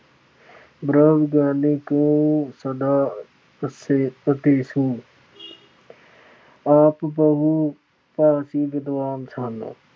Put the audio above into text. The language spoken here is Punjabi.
ਬ੍ਰਹਮ ਗਿਆਨੀ ਕਉ ਸਦਾ ਅਦੇਸੁ । ਆਪ ਬਹੁ ਭਾਸ਼ੀ ਵਿਦਵਾਨ ਸਨ।